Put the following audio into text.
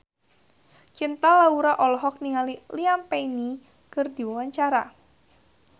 Cinta Laura olohok ningali Liam Payne keur diwawancara